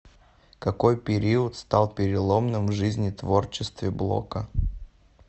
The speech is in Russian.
какой период стал переломным в жизни творчестве блока